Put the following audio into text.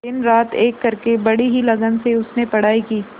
दिनरात एक करके बड़ी ही लगन से उसने पढ़ाई की